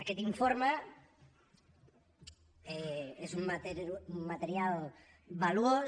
aquest informe és un material valuós